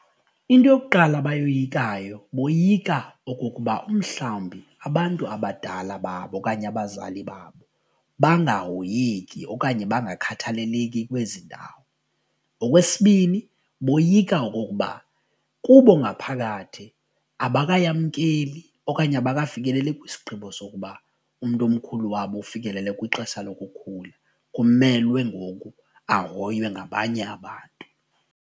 Into yokuqala abayoyikayo boyika okokuba umhlawumbi abantu abadala babo okanye abazali babo bangahoyeki okanye bangakhathaleleki kwezi ndawo. Okwesibini, boyika okokuba kubo ngaphakathi abakayamkeli okanye abakafikeleli kwisigqibo sokuba umntu omkhulu wabo ufikelele kwixesha lokukhula kumelwe ngoku ahoywe ngabanye abantu.